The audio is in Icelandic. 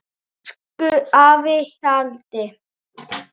Elsku afi Hjalti.